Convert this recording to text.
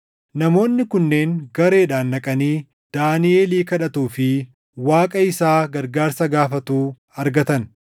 Namoonni kunneen gareedhaan dhaqanii Daaniʼelii kadhatuu fi Waaqa isaa gargaarsa gaafatuu argatan.